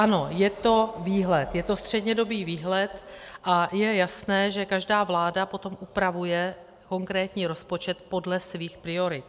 Ano, je to výhled, je to střednědobý výhled a je jasné, že každá vláda potom upravuje konkrétní rozpočet podle svých priorit.